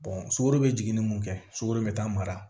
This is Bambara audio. sukaro be jigin ni mun kɛ sukoro bɛ taa mara